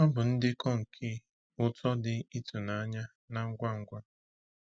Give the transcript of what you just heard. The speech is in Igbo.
Ọ bụ ndekọ nke uto dị ịtụnanya na ngwa ngwa.